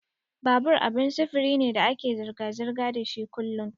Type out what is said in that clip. Babur abin sufuri ne da ake zirga-zirga dashi kullun.